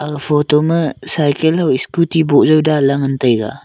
ag photo ma cycle ho scooty nih jaw danla ngantaiga.